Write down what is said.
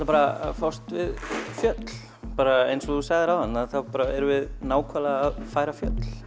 bara að fást við fjöll bara eins og þú sagðir áðan að þá erum við nákvæmlega að færa fjöll